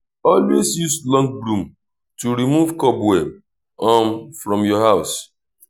always use long broom to remove cobweb um from your house